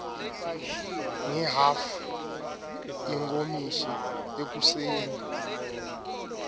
ngehhafu yenkomishi ekuseni